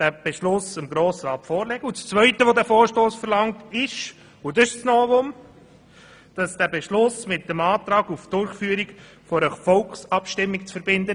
Die zweite Forderung des Vorstosses will diesen Beschluss mit dem Antrag auf Durchführung einer Volksabstimmung verbinden.